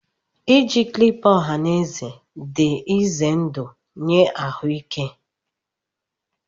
Iji clipper ọha na eze dị ize ndụ nye ahụike